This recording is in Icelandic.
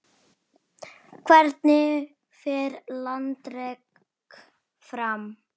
Hvernig fer landrek fram?